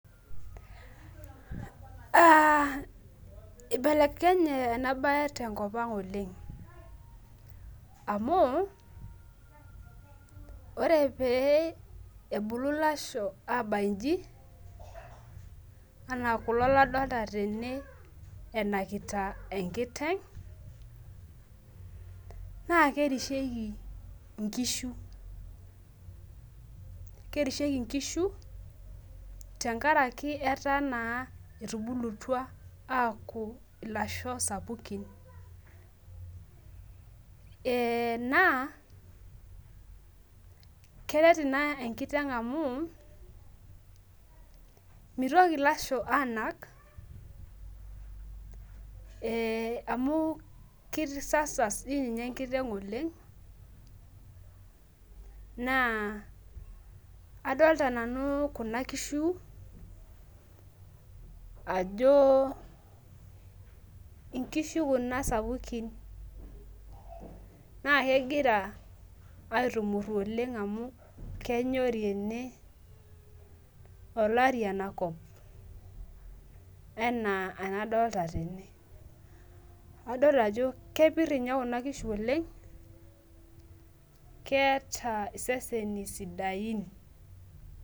Ah ibelekenye enabae tenkop ang oleng, amu ore pee ebulu lasho abayu iji, enaa kulo ladolta tene enakita enkiteng, naa kerisheki inkishu. Kerisheki nkishu, tenkaraki enaa etubulutua aaku ilasho sapukin. Naa, keret ina enkiteng amu, mitoki ilasho anak, amu kisasas tininye enkiteng oleng, naa adolta nanu kuna kishu ajo inkishu kuna sapukin. Na kegira aitumurru oleng amu kenyori ene, olari enakop, enaa enadolta tene. Adol ajo kepir inye kuna kishu oleng, keeta iseseni sidain.